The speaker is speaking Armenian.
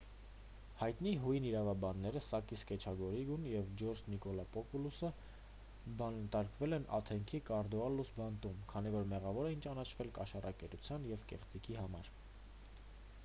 հայտնի հույն իրավաբանները սակիս կեչագիոգլուն և ջորջ նիկոլակոպուլոսը բանտարկվել են աթենքի կոռիդալլուս բանտում քանի որ մեղավոր էին ճանաչվել կաշառակերության և կեղծիքի համար